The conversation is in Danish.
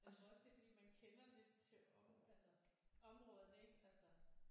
Jeg tror også det er fordi man kender lidt til om altså områderne ik altså?